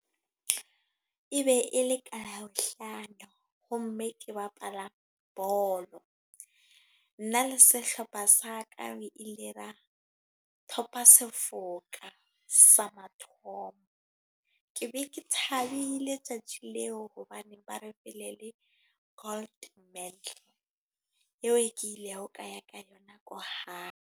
E be e le ka Labohlano. Ho mme ke bapala bolo. Nna le sehlopha sa ka, e lera top-a, sa mathomo. Ke be ke thabile tsatsi leo. Hobaneng ba re pele le gold eo e ke ile ka ya ka yona ko hae.